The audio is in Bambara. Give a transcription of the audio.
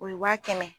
O ye wa kɛmɛ